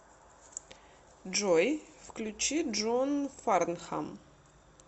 джой включи джон фарнхам